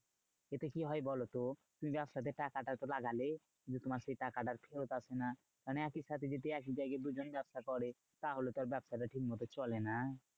এতে কি হয় বলতো? তুমি ব্যবসাতে টাকাটা তো লাগালে কিন্তু তোমার সেই টাকাটা ফেরত আসে না। মানে একই সাথে যদি একই জায়গায় দুজনে ব্যাবসা করে তাহলে আর ব্যাবসাটা ঠিক মতো চলে না।